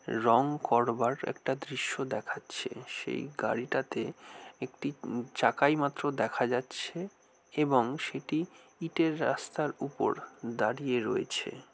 রং করবার একটা দৃশ্য দেখাচ্ছে। সেই গাড়িটাতে একটি উম চাকাই মাত্র দেখা যাচ্ছে এবং সেটি ইটের রাস্তার উপর দাঁড়িয়ে রয়েছে।